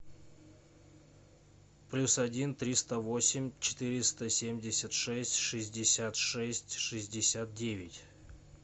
плюс один триста восемь четыреста семьдесят шесть шестьдесят шесть шестьдесят девять